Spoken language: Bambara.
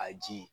A ji